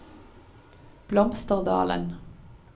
Blomsterdalen